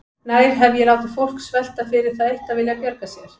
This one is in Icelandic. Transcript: Nær hef ég látið fólk svelta fyrir það eitt að vilja bjarga sér?